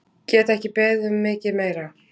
Get ekki beðið um mikið meira!